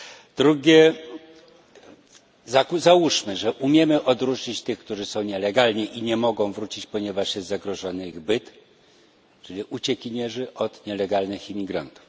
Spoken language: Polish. Po drugie, załóżmy, że umiemy odróżnić tych, którzy są nielegalnie i nie mogą wrócić, ponieważ jest zagrożony ich byt, czyli uciekinierów, od nielegalnych imigrantów.